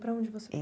Para onde você É